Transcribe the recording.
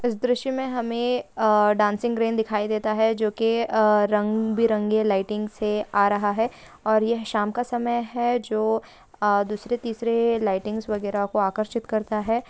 इस दृश्य में हमें अ डांसिंग रेन दिखाई देता है जो की अ रंग बिरंगे लाइटिंग से आ रहा है और यह शाम का समय है जो अ दूसरे तीसरे लाइटिंग वगैरह को आकर्षित करता है।